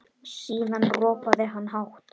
Síðan ropaði hann hátt.